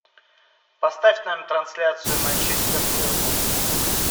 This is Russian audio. поставь нам трансляцию манчестер ливерпуль